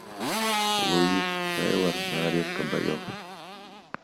луис тейлор нарезка боев